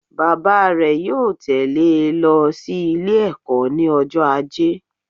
Bàbá rè yóò tẹ̀lẹ́ e lo sí Ilé ẹ̀kó ní ọjọ́ ajé